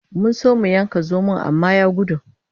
Mun so mu yanka zomon amma ya gudu.